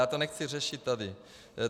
Já to nechci řešit tady.